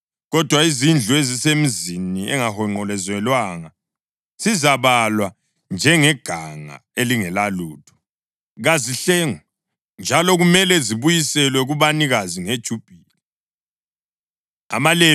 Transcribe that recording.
Kodwa izindlu ezisemizini engahonqolozelwanga zizabalwa njengeganga elingelalutho. Kazihlengwe, njalo kumele zibuyiselwe kubanikazi ngeJubhili.